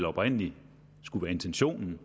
oprindelig var intentionen